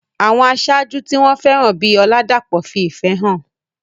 Àwọn aṣáájú tí wọ́n fẹ́ràn bíi Oladapo fi ìfẹ́ hàn.